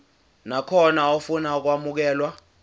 nakhona ofuna ukwamukelwa